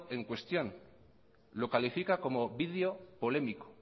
en cuestión lo califica como video polémico